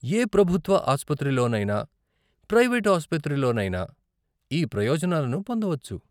ఏ ప్రభుత్వ ఆసుపత్రిలోనైనా, ప్రైవేటు ఆసుపత్రిలోనైనా ఈ ప్రయోజనాలను పొందవచ్చు.